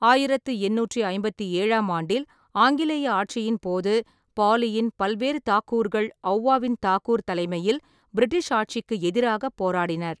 ஆயிரத்தி எண்ணூற்றி ஐம்பத்தி ஏழாம் ஆண்டில் ஆங்கிலேய ஆட்சியின்போது, பாலியின் பல்வேறு தாக்கூர்கள் ஔவாவின் தாக்கூர் தலைமையில் பிரிட்டிஷ் ஆட்சிக்கு எதிராகப் போராடினர்.